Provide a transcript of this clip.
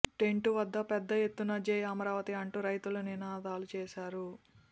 tent వద్ద పెద్ద ఎత్తున జై అమరావతి అంటూ రైతులు నినాదాలు చేశారు